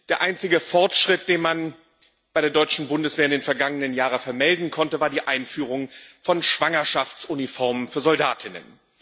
Der einzige Fortschritt, den man bei der deutschen Bundeswehr in den vergangenen Jahren vermelden konnte, war die Einführung von Schwangerschaftsuniformen für Soldatinnen.